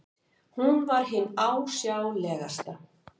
Hún var hin ásjálegasta.